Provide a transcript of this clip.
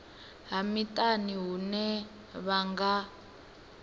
ha miṱani hune vha nga